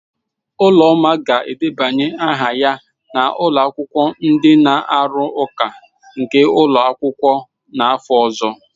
Uloma ga-edebanye aha ya na akwụkwọ ndi na-arụ ụka nke n'ụlọ akwụkwọ n'afọ ọzọ.